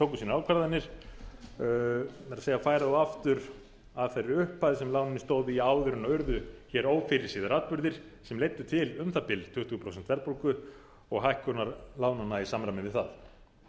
ákvarðanir með því að færa þá aftur að þeirri upphæð sem lánin stóðu í áður en urðu hér ófyrirséðir atburðir sem leiddu til um það bil tuttugu prósent verðbólgu og hækkunar lánanna í samræmi við það